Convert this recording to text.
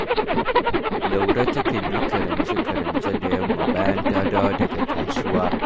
Laure takan yi karance-karance da yamma bayan ta dawo daga kasuwa